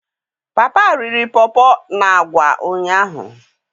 Papa riri Pawpaw na agwa ụnyahụ.